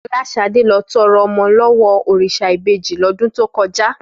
Fọláṣadé lọ tọrọ ọmọ lọ́wọ́ òrìṣà ìbejì lọ́dún tó kọjá